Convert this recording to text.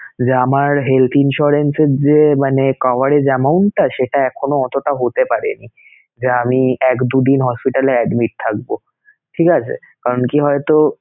যে আমার health insurance এর যে মানে coverage amount টা সেটা এখনো অতোটা হতে পারেনি যে আমি এক, দু দিন hospital এ admit থাকবোঠিক আছে? কারণ কি হয়তো